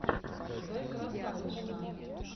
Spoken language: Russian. зэкрасавишна